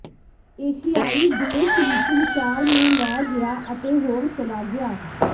ਏਸ਼ੀਆਈ ਦੇਸ਼ ਵਿਚ ਵਿਚਾਰ ਨੂੰ ਲੈ ਗਿਆ ਅਤੇ ਹੋਰ ਚਲਾ ਗਿਆ